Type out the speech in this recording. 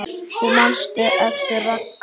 Þú manst eftir Ragga.